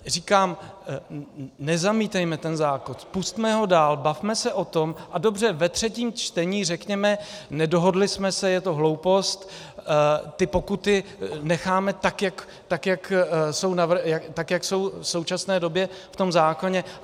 Říkám, nezamítejme ten zákon, pusťme ho dál, bavme se o tom a dobře, ve třetím čtení řekněme, nedohodli jsme se, je to hloupost, ty pokuty necháme tak, jak jsou v současné době v tom zákoně.